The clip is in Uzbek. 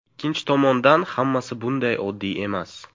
Ikkinchi tomondan, hammasi bunday oddiy emas.